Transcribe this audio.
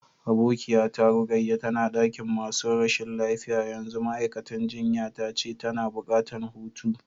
Abokiya ta Rukayya tana dakin masun rashin lafiya yanzu, ma'aikatan jinya ta ce tana buƙatan hutu.